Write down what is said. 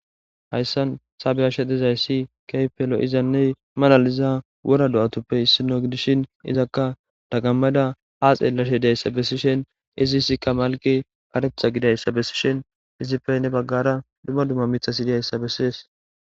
Haysan ta beyashe dizaysi keehippe lo'izanne malaliza wora do'azappe issino gidishn izaka dagamada ha xelashe dizaysa besishn iziska malkey karetha gididaysa besishn izippe hen bagara dumma dumma mithati dizaysa beses.